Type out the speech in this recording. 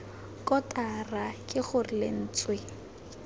kotara k g r lentswe